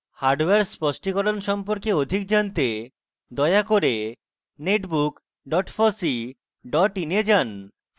hardware স্পষ্টিকরণ সম্পর্কে অধিক জানতে দয়া করে